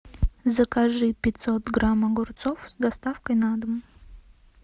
закажи пятьсот грамм огурцов с доставкой на дом